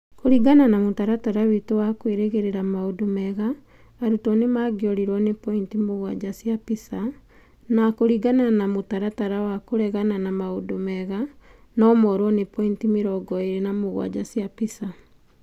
Kũringana na mũtaratara witũ wa kwĩrĩgĩrĩra maũndũ mega, arutwo nĩ mangĩũrũo ni pointi mũgwanja cia PISA, na kũringana na mũtaratara wa kũregana na maũndũ mega, no moorwo nĩ pointi mĩrongo ĩĩrĩ na mũgwanja cia PISA.